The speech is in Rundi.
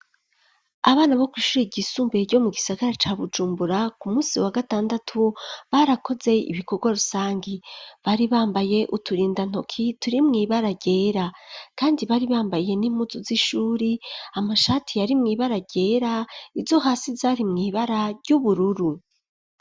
Abana bo kw'ishure ryisumbuye ryo mu gisagara ca Bujumbura ku munsi wa gatandatu barakoze ibikorwa rusangi, bari bambaye uturinda ntoki turi mw'ibara ryera, kandi bari bambaye n'impuzu z'ishuri ,amashati yari mw'ibara ryera ,izo hasi zari mw'ibara ry'ubururu.